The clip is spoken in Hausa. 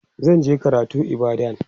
zan je karatu ibadan